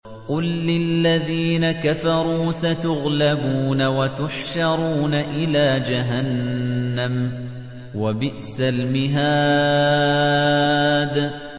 قُل لِّلَّذِينَ كَفَرُوا سَتُغْلَبُونَ وَتُحْشَرُونَ إِلَىٰ جَهَنَّمَ ۚ وَبِئْسَ الْمِهَادُ